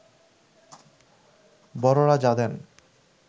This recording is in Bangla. বড়রা যা দেন